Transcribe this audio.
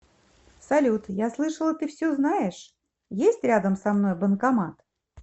салют я слышала ты все знаешь есть рядом со мной банкомат